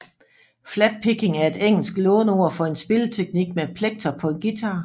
Flatpicking er et engelsk låneord for en spilleteknik med plekter på en guitar